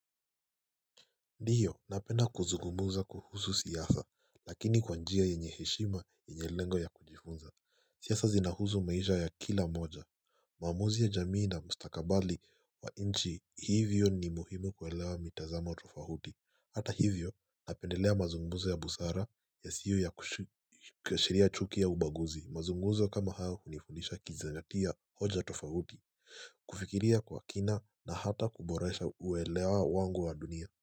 Ndiyo napenda kuzungumuza kuhuzu siyasa lakini kwanjia yenye heshima yenye lengo ya kujifunza siasa zinahuzu maisha ya kila moja uamuzi ya jamii na mstakabali wa inchi hivyo ni muhimu kuwelewa mitazama wa tofahuti Hata hivyo napendelea mazungumuza ya busara yasio ya kushiria chuki ya ubaguzi mazunguzo kama haa hunifunisha kijizangatia hoja tofahuti kufikiria kwa kina na hata kuboresha uelewa wangu wa dunia.